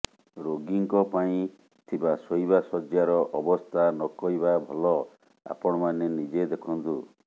ରୋଗୀଙ୍କ ପାଇଁ ଥିବା ଶୋଇବା ଶଯ୍ୟାର ଅବସ୍ଥା ନକହିବା ଭଲ ଆପଣମାନେ ନିଜେ ଦେଖନ୍ତୁ